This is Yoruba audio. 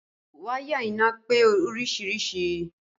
Wáyà iná pé oríṣiríṣìí